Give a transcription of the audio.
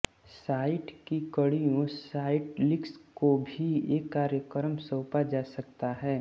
site की कड़ियों site links को भी एक कार्यक्रम सौंपा जा सकता है